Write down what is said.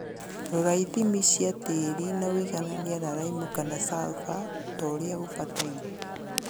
Rora ithimi cia tĩri na ũigananie na laimu kana sulfur toria gũbataire